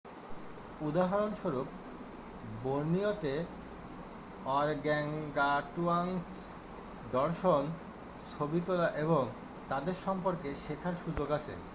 উদাহরণ স্বরূপ বোর্নিওতে অরগ্যাংগাটুয়াংস দর্শন ছবি তোলা এবং তাদের সম্পর্কে শেখার সুযোগ আছে